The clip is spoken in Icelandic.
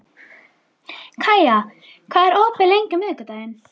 Kaía, hvað er opið lengi á miðvikudaginn?